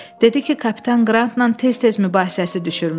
Dedi ki, kapitan Qrantla tez-tez mübahisəsi düşürmüş.